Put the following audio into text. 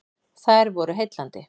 Þær voru heillandi.